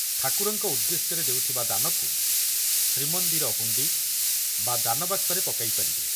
ଠାକୁରଙ୍କ ଉଦ୍ଦେଶ୍ୟରେ ଦେଉଥିବା ଦାନକୁ ଶ୍ରୀମନ୍ଦିର ହୁଣ୍ଡି ବା ଦାନବାକ୍ସରେ ପକାଇପାରିବେ।